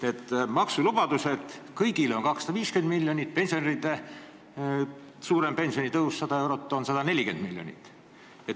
Need maksulubadused kõigile lähevad maksma 250 miljonit, pensionäride suurem pensionitõus, 100 eurot, maksab 140 miljonit.